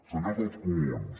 senyors dels comuns